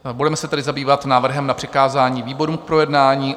Budeme se tedy zabývat návrhem na přikázání výborům k projednání.